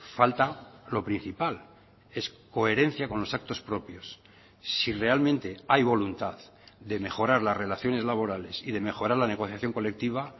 falta lo principal es coherencia con los actos propios si realmente hay voluntad de mejorar las relaciones laborales y de mejorar la negociación colectiva